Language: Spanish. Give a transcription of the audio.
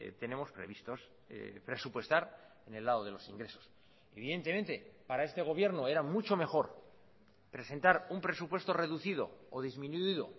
tenemos previstos presupuestar en el lado de los ingresos evidentemente para este gobierno era mucho mejor presentar un presupuesto reducido o disminuido